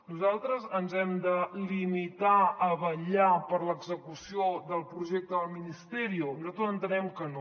nosaltres ens hem de limitar a vetllar per l’execució del projecte del ministerio nosaltres entenem que no